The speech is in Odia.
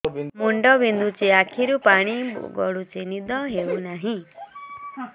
ମୁଣ୍ଡ ବିନ୍ଧୁଛି ଆଖିରୁ ପାଣି ଗଡୁଛି ନିଦ ହେଉନାହିଁ